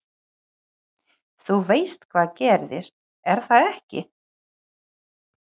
Þú veist hvað gerðist, er það ekki?